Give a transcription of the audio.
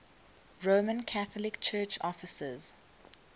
roman catholic church offices